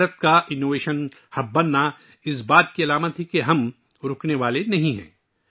ہندوستان کا، innovation hub بننا اس حقیقت کی علامت ہے کہ ہم رکنے والے نہیں ہیں